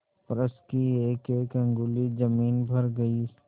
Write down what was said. फर्श की एकएक अंगुल जमीन भर गयी